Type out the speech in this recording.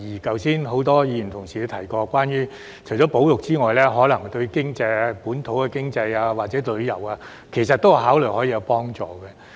剛才很多議員也提到，除了保育，事件可能對本土經濟或旅遊也有幫助。